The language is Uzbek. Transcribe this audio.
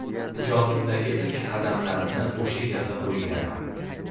Ijodimdagi ilk qadamlarimni o‘sha yerda qo‘yganman.